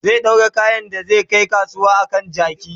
zai ɗaura kayan da zai Kai kasuwa a kan jaki